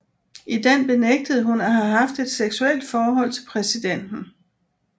I den benægtede hun at have haft et seksuelt forhold til præsidenten